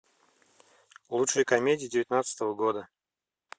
лучшие комедии девятнадцатого года